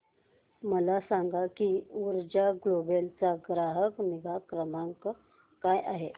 मला सांग की ऊर्जा ग्लोबल चा ग्राहक निगा क्रमांक काय आहे